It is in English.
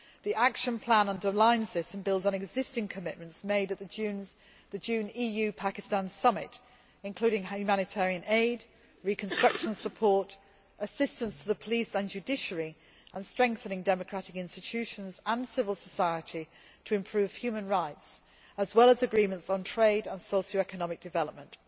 The action plan underlines this and builds on existing commitments made at the June EU Pakistan Summit, including humanitarian aid, reconstruction support, assistance to the police and judiciary and strengthening democratic institutions and civil society to improve human rights, as well as agreements on trade and socio economic development.